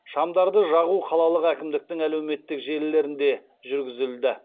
шамдарды жағу қалалық әкімдіктің әлеуметтік желілерінде жүргізілді